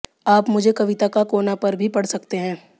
आप मुझे कविता का कोना पर भी पढ़ सकते हैं